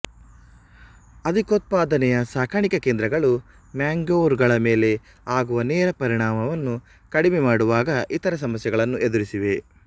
ಅಧಿಕೋತ್ಪಾದನೆಯ ಸಾಕಾಣಿಕೆ ಕೇಂದ್ರಗಳು ಮ್ಯಾಂಗೋವರ್್ಗಳ ಮೇಲೆ ಆಗುವ ನೇರ ಪರಿಣಾಮವನ್ನು ಕಡಿಮೆ ಮಾಡುವಾಗ ಇತರ ಸಮಸ್ಯೆಗಳನ್ನು ಎದುರಿಸಿವೆ